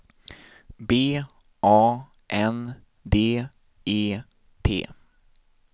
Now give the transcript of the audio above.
B A N D E T